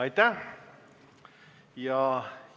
Aitäh!